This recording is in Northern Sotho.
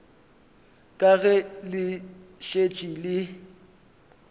ka ge le šetše le